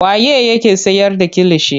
Waye yake siyar da kilishi.